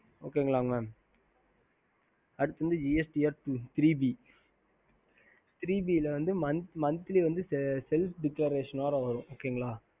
ஹம்